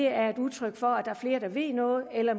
er udtryk for at der er flere der ved noget eller